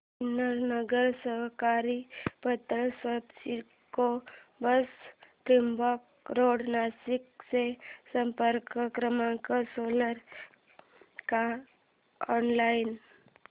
Sinnar Nagari Sahakari Patsanstha CIDCO branch Trimbak road Nashik चा संपर्क क्रमांक असेल का ऑनलाइन